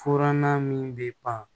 Furannan min bɛ ban